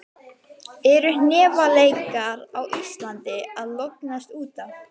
Eru hnefaleikar á Íslandi að lognast út af?